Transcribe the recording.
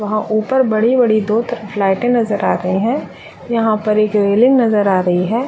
वहाँ ऊपर बड़ी बड़ी दो फ्लाइटे नजर आ रहे है यहां पर एक रेलिंग नजर आ रही है।